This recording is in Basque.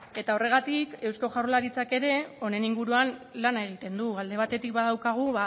eta horregatik eusko jaurlaritzak ere honen inguruan lana egiten du alde batetik badaukagu